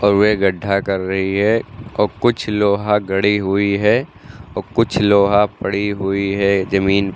और वे गड्ढा कर रही है और कुछ लोहा गढ़ी हुई है और कुछ लोहा पड़ी हुई है जमीन --